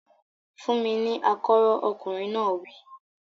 Fún mi ní akọ́rọ́! Ọkùnrin náà wí.